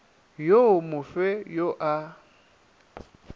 wo mo fe yo a